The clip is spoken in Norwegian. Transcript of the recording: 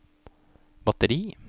batteri